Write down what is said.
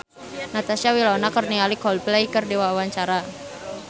Natasha Wilona olohok ningali Coldplay keur diwawancara